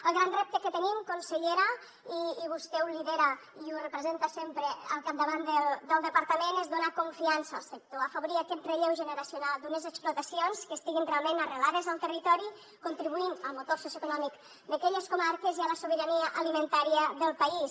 el gran repte que tenim consellera i vostè ho lidera i ho representa sempre al capdavant del departament és donar confiança al sector afavorir aquest relleu generacional d’unes explotacions que estiguin realment arrelades al territori contribuint al motor socioeconòmic d’aquelles comarques i a la sobirania alimentària del país